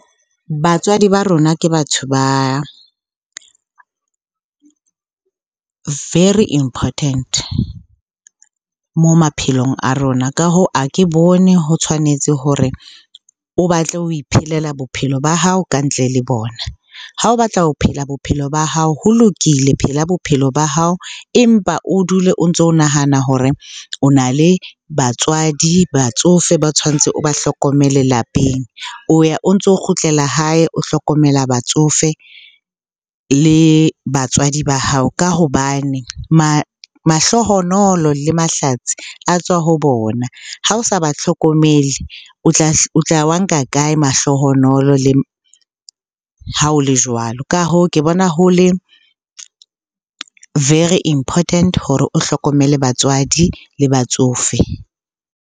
Batswadi ba rona ke batho ba very important mo maphelong a rona. Ka hoo, ha ke bone ho tshwanetse hore o batle ho iphelela bophelo ba hao ka ntle le bona. Ha o batla ho phela bophelo ba hao ho lokile, phela bophelo ba hao. Empa o dule o ntso o nahana hore o na le batswadi, batsofe ba tshwantse o ba hlokomele lapeng. O ya o ntso kgutlela hae, o hlokomela batsofe le batswadi ba hao ka hobane mahlohonolo le mahlatsi a tswa ho bona. Ha o sa ba hlokomele, o tla wa nka kae mahlohonolo ha o le jwalo? Ka hoo, ke bona ho le very important hore o hlokomele batswadi le batsofe.